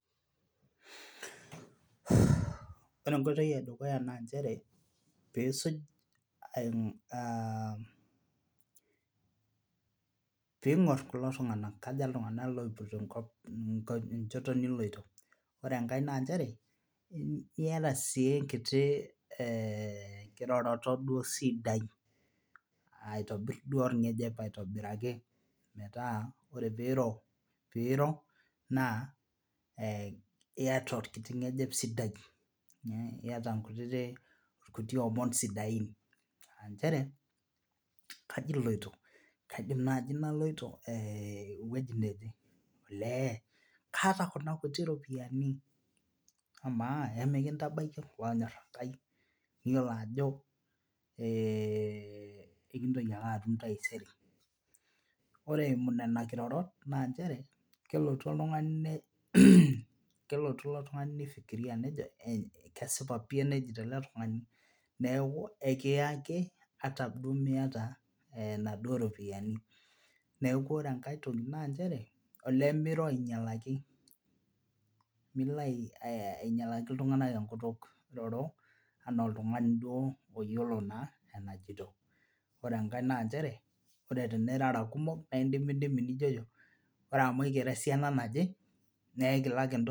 Ore enkoitoi edukuya naa nchere piisuj aah piing'ur kulo tung'anak kaja iltung'anak opoito enchoto niloito ore engae naa nchere iyata sii enkiti kiroroto sidai aitobir duo olbg'ejep aitobiraki metaa ore piiro naa iyata olkiti ngejep sidai iyata olkiti omon sidain aa nchere kaji iloito, kaidim nai naloito ewueji nejee? Olee kaata kuna kuti ropiani amaa emilintabaiki olonyor Enkai niyiolo ajo kekintoki ake atum taisere Ore eimu nena kiroror naa nchere kelotu oltungani ilo tungani nifiklria nejo kesipa pi enejito ele tungani niaku ekiya ake ata duo miata inaduo ropiani Niaku ore engae toki naa nchere olee miro ainyalaki miro ainyalaki iltung'anak enkutuk iroro anaa oltungani duo oyiolo naa enajito Ore engae naa nchere ore tenirara kumok na indimidimi nijojo ore amu aikira esiana naje naa aikilak